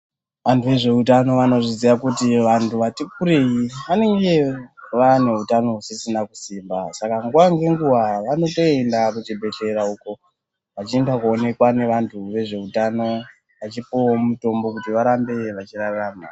Antu ezveutano anozviziya kuti antu atikurei vanenge vane hutano husisina kunasa kusimba saka nguwa ngenguwa vanotoenda kuchibhehlera uko vachienda kundoonekwa nevanhu vezveutano vachipuwawo mutombo kuti varambe vachirarama.